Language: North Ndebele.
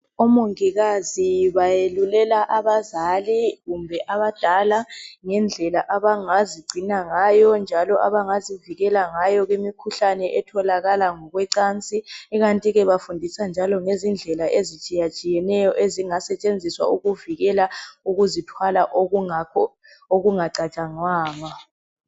Omongikazi bayeluleka abazali kumbe abadala ngendlela abangazigcina njalo abangazivikela ngayo kumikhuhlane etholakala ngokwecansi ikantike bafundisa njalo ngezindlela ezitshiyatshiyeneyo ezingasetshenziswa ukuvikela ukuzithwala okungacatshangwanga.